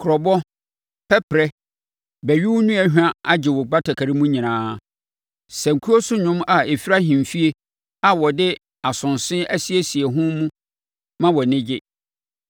Kurobo, pɛperɛ ne bɛwewonua hwa agye wo batakari mu nyinaa; sankuo so nnwom a ɛfiri ahemfie a wɔde asonse asiesie ho mu ma wʼani gye.